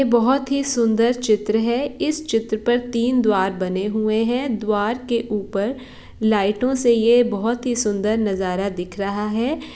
ये बहुत ही सुंदर चित्र है इस चित्र पर तीन द्वार बना हुआ है द्वार के ऊपर लाइट से ये बहुत ही सुंदर नज़ारा दिख रहा है।